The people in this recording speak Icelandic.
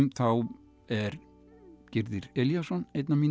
þá er Gyrðir Elíasson einn af mínum